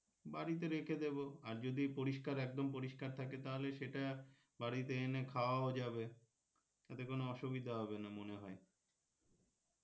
বাড়িতে রেখে দেবো আর যদি পরিস্কার একদম পরিস্কার থাকে তাহলে সেটা বাড়িতে এনে খাওয়াও যাবে তাতে কোনো অসুবিধা হবেনা মনে হয়